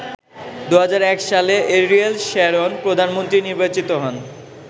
২০০১ সালে Ariel Sharon প্রধানমন্ত্রী নির্বাচিত হন।